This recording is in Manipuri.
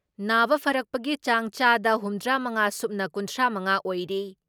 ꯅꯥꯕ ꯐꯔꯛꯄꯒꯤ ꯆꯥꯡ ꯆꯥꯗ ꯍꯨꯝꯗ꯭ꯔꯥ ꯃꯉꯥ ꯁꯨꯞꯅ ꯀꯨꯟꯊ꯭ꯔꯥ ꯃꯉꯥ ꯑꯣꯏꯔꯤ ꯫